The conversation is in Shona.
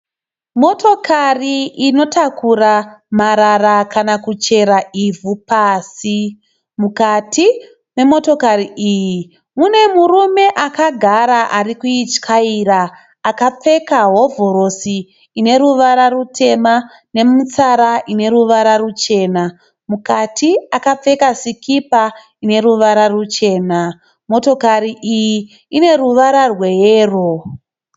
Motokari inotakura marara kana kuchera ivhu pasi, mukati memotokari iyi mune murume akagara ari kuityaira akapfeka hovhorosi ineruvara rutema nemutsara ine ruvara ruchena mukati akapfeka sikipa ine ruvara ruchena. Motokari iyi ine ruvara rweyero.